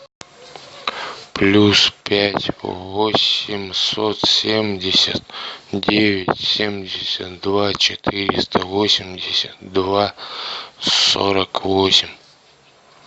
плюс пять восемьсот семьдесят девять семьдесят два четыреста восемьдесят два сорок восемь